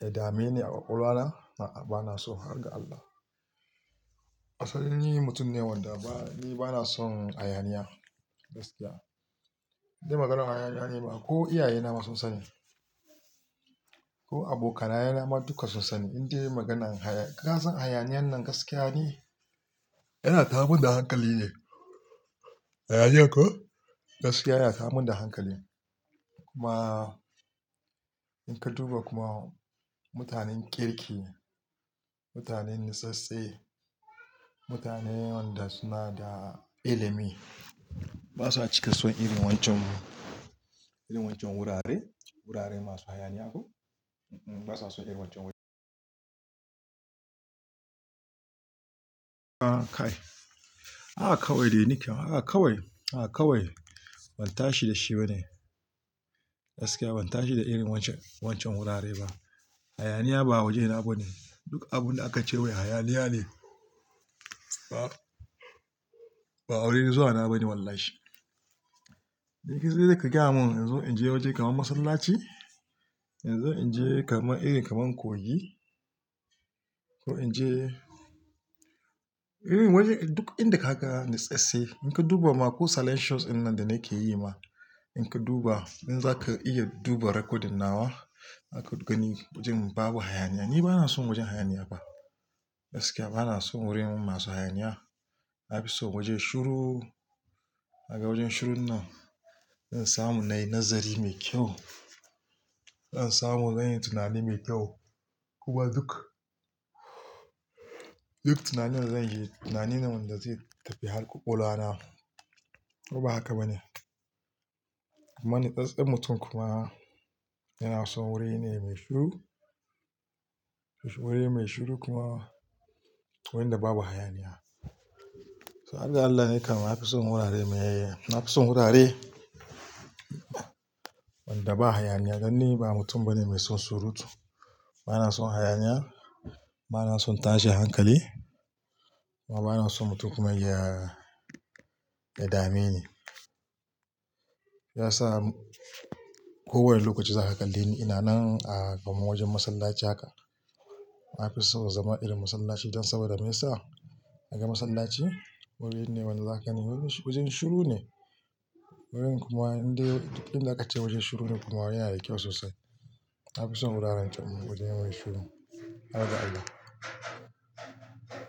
ya dameni a ƙwaƙwalwa na a'a bana so har ga Allah. Asali ni mutum ne wanda ba, ni bana son hayaniya gaskiya. In ji maganar hayaniya ne ba ko iyaye na ma sun sani. Ko abokanaye na ma duka sun sani in dai maganan haya, ka san hayaniyan nan gaskiya ni. Yana tayarmin da hankali ne. Hayaniya ko? Gaskiya yana tayar min da hankali. Kuma in ka duba kuma mutanen kirki, mutanen natsattse, mutane wanda suna da ilimi ba sa cika son irin wancan, irin wancan wurare, wurare masu hayaniya ko? Basaso irin wancan wurin kuma kai, haka kawai dai ni kam haka kawai, haka kawai ban tashi da shi ba ne. Gaskiya ban tashi da irin wancan, wancan wurare ba. Hayaniya ba wajena ba ne. Duk abunda aka ce wai hayaniya ne ba, ba wurin zuwa na ba ne wallahi. In ki zai ka gaya mun in zo in je wajen kaman masallaci, in zo in je kaman iri kaman kogi ko in je irin wajen duk inda kaga natsattse. In ka duba ma ko salancios in nan da nake yi ma in ka duba in zaka iya duba rekodin nawa aka gani wajen babu hayaniya. Ni bana son wajen hayaniya ba. Gaskiya bana son wurin masu hayaniya. Nafison waje shiru don wajen shirun nan, ina samu nayi nazari mai kyau. Zan samu zanyi tunani mai kyau. Kuma duk, duk tunanin zanyi tunani ne wanda zai tafi har ƙwaƙwalwa na. Ko ba haka ba ne? Amma natsattsen mutum kuma yana son wuri ne mai shuru. Wuri mai shuru kuma wurin da babu hayaniya. So har ga Allah ni kam na fi son wurare mai, na fi son wurare wanda ba hayaniya. Dan ni ba mutum bane mai son surutu. Bana son hayaniya. Bana son tashi da hankali. Kuma bana son mutum kuma ya, ya dameni. Shiyasa kowane lokaci zaka kalle ni ina nan a kaman wajen masallaci haka. Na fi so zama irin masallaci don saboda me yasa? Ka ga masallaci wuri ne wanda zaka gani wurin shuru ne. Wurin kuma indai duk inda aka ce wajen shuru ne to kaga yanada kyau sosai. Na fi son wuraren wajen yayi shuru har ga Allah.